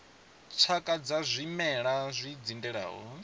tshakha dza zwimela zwi dzindelaho